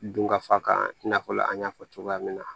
Dunkafa kan i n'a fɔ an y'a fɔ cogoya min na